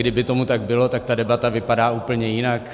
Kdyby tomu tak bylo, tak ta debata vypadá úplně jinak.